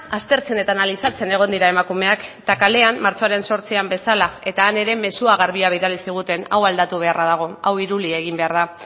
aztertzen eta analizatzen egon dira emakumeak eta kalean martxoaren zortzian bezala eta han ere mezu garbia bidali ziguten hau aldatu beharra dago hau iruli egin behar da